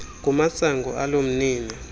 kumasango alo mnini